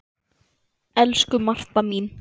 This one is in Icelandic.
Elsku Marta mín.